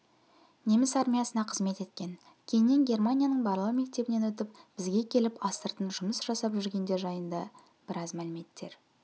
неміс армиясына қызмет еткен кейіннен германияның барлау мектебінен өтіп бізге келіп астыртын жұмыс жасап жүргендер жайында біраз мәліметтер